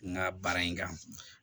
N ka baara in kan